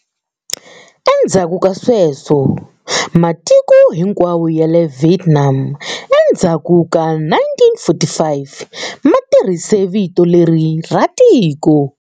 Endzhaku ka sweswo, matiko hinkwawo ya le Vietnam endzhaku ka 1945 ma tirhise vito leri ra tiko.